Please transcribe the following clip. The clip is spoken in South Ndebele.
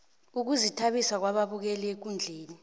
ukuzithabisa kwababukeli ekundleni